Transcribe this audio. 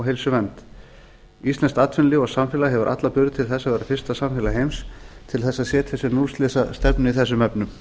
heilsuvernd íslenskt atvinnulíf og samfélag hefur alla burði til þess að verða fyrsta samfélag heims til þess að setja sér núllslysastefnu í þessum efnum